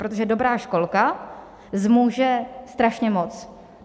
Protože dobrá školka zmůže strašně moc.